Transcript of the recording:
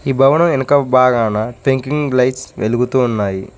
ఈ భవనం వెనక బాగాన లైట్స్ వెలుగుతూ ఉన్నాయి.